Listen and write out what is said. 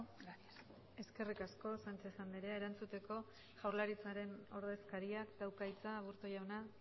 gracias eskerrik asko sánchez andrea erantzuteko jaurlaritzaren ordezkariak dauka hitza aburto jauna